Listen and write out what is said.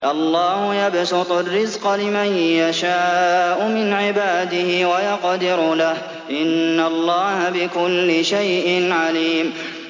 اللَّهُ يَبْسُطُ الرِّزْقَ لِمَن يَشَاءُ مِنْ عِبَادِهِ وَيَقْدِرُ لَهُ ۚ إِنَّ اللَّهَ بِكُلِّ شَيْءٍ عَلِيمٌ